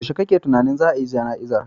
Yaushe kuke tunanin za a yi jana'izar